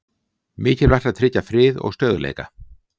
Mikilvægt að tryggja frið og stöðugleika